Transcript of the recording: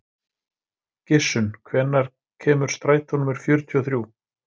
Gissunn, hvenær kemur strætó númer fjörutíu og þrjú?